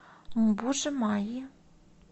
мбужи майи